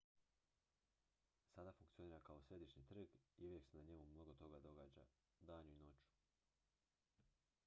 sada funkcionira kao središnji trg i uvijek se na njemu mnogo toga događa danju i noću